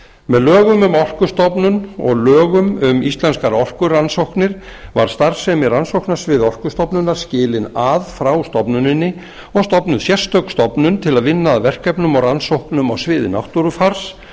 með lögum um orkustofnun og lögum um íslenskar orkurannsóknir var starfsemi rannsóknasviðs orkustofnunar skilin frá stofnuninni og stofnuð sérstök stofnun til að vinna að verkefnum og rannsóknum á sviði náttúrufars